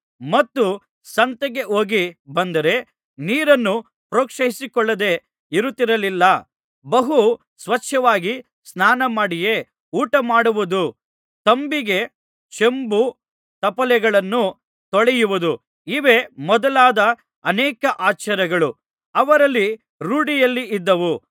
ಮತ್ತು ಸಂತೆಗೆ ಹೋಗಿ ಬಂದರೆ ನೀರನ್ನು ಪ್ರೋಕ್ಷಿಸಿಕೊಳ್ಳದೆ ಇರುತ್ತಿರಲಿಲ್ಲ ಬಹು ಸ್ವಚ್ಛವಾಗಿ ಸ್ನಾನಮಾಡಿಯೇ ಊಟಮಾಡುವುದು ತಂಬಿಗೆ ಚೆಂಬು ತಪ್ಪಲೆಗಳನ್ನು ತೊಳೆಯುವುದು ಇವೇ ಮೊದಲಾದ ಅನೇಕ ಆಚಾರಗಳು ಅವರಲ್ಲಿ ರೂಢಿಯಲ್ಲಿದ್ದುವು